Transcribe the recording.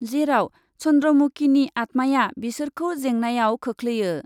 जेराव चन्द्रमुकिनि आतमाया बिसोरखौ जेंनायाव खोख्लैयो।